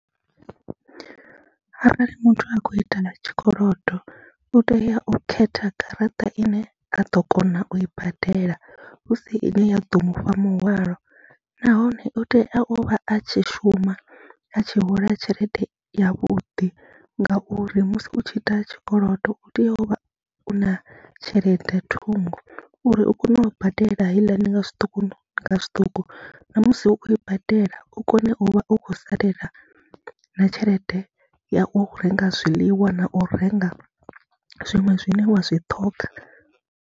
Arali muthu a khou ita ḽa tshikolodo u tea u khetha garaṱa ine a ḓo kona u i badela hu si ine ya ḓo mu fha muhwalo, nahone u tea u vha a tshi shuma, a tshi hola tshelede yavhuḓi ngauri musi u tshi ita tshikolodo u tea u vha u na tshelede ṱhungo uri u kone u badela heiḽani nga zwiṱuku nga zwiṱuku, na musi u khou i badela u kone u vha u khou salelwa na tshelede ya u renga zwiḽiwa na u renga zwiṅwe zwine wa zwi ṱhoga.